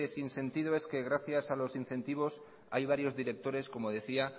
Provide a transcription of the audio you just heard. sin sentido es que gracias a los incentivos hay varios directores